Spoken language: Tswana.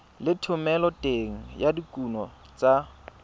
le thomeloteng ya dikuno tsa